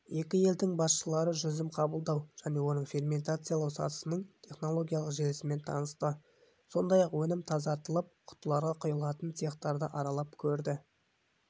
екі елдің басшылары жүзім қабылдау және оны ферментациялау сатысының технологиялық желісімен танысты сондай-ақ өнім тазартылып құтыларға құйылатын цехтарды аралап көрді